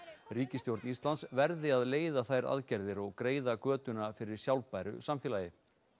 ríkisstjórn Íslands verði að leiða þær aðgerðir og greiða götuna fyrir sjálfbæru samfélagi